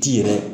Ti yɛrɛ